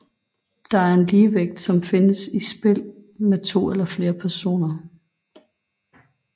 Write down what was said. Det er en ligevægt som findes i spil med to eller flere personer